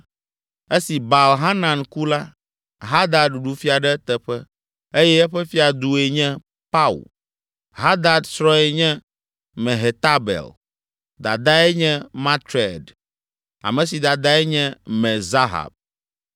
Esi Baal Hanan ku la, Hadad ɖu fia ɖe eteƒe eye eƒe fiadue nye Pau. Hadad srɔ̃e nye Mehetabel, dadae nye Matred, ame si dadae nye Me-Zahab.